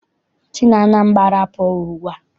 Si n'Anambra pụọ ugbua!